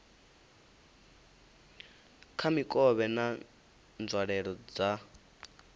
kha mikovhe na nzwalelo dza